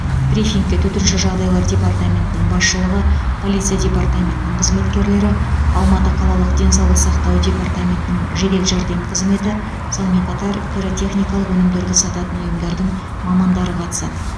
брифингте төтенше жағдайлар департаментінің басшылығы полиция департаментінің қызметкерлері алматы қалалық денсаулық сақтау департаментінің жедел жәрдем қызметі сонымен қатар пиротехникалық өнімдерді сататын ұйымдардың мамандары қатысады